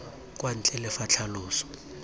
kwa ntle le fa tlhaloso